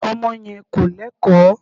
Ọmọ yẹn kò Lẹ́kọ̀ọ́.